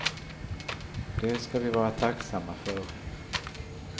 Det ska vi vara tacksamma för.